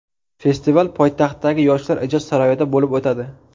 Festival poytaxtdagi Yoshlar ijod saroyida bo‘lib o‘tadi.